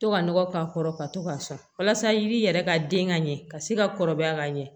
To ka nɔgɔ k'a kɔrɔ ka to k'a sɔn walasa i b'i yɛrɛ ka den ka ɲɛ ka se ka kɔrɔbaya ka ɲɛ